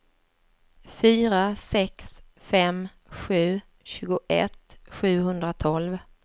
fyra sex fem sju tjugoett sjuhundratolv